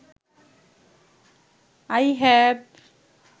I have